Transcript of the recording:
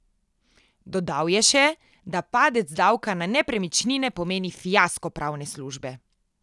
Dodal je še, da padec davka na nepremičnine pomeni fiasko pravne službe.